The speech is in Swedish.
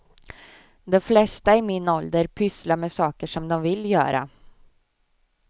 De flesta i min ålder pysslar med saker som de vill göra.